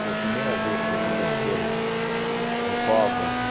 Foi a primeira vez que aconteceu o Covas.